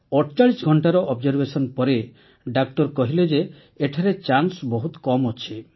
୪୮ ଘଂଟାର ଅବଜର୍ଭେସନ୍ ପରେ ଡାକ୍ତର କହିଲେ ଯେ ଏଠାରେ ଚାନ୍ସ ବହୁତ କମ୍ ଅଛି